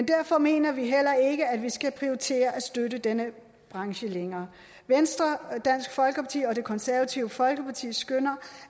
derfor mener vi heller ikke at vi skal prioritere at støtte denne branche længere venstre dansk folkeparti og det konservative folkeparti skønner